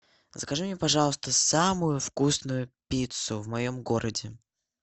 закажи мне пожалуйста самую вкусную пиццу в моем городе